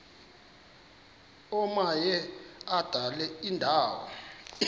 omaye adlale indawo